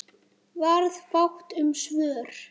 Varð fátt um svör.